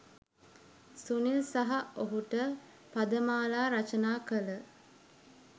සුනිල් සහ ඔහුට පදමාලා රචනා කළ